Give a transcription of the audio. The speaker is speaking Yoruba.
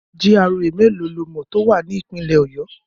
GRA mélòó lo mọ̀ tó wà ní Ìpínlẹ̀ Ọ̀yọ́?